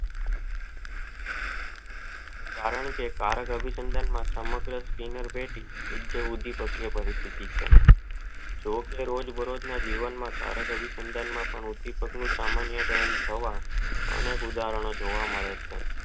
કારણ કે કર્ક અભી સંધાન માં સમગ્ર કેન્દ્ર પેટી વિજિયો ઉઢીપકવ જે રોજ બરોજ ના જીવન માંકર્ક આભી સંધાન નો સામાન્ય કારણ થવા એનું એક ઉદાહરણ જોવા મળે છે.